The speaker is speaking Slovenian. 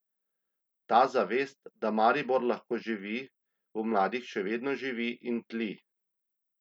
Ta zavest, da Maribor lahko živi, v mladih še vedno živi in tli.